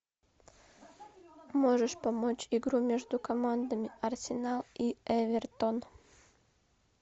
можешь помочь игру между командами арсенал и эвертон